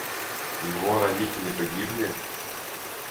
его родители погибли